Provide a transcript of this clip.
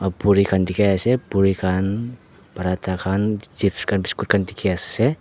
a puri khan dikhi ase puri khan paratha khan chips khan biscuit khan dikhi ase.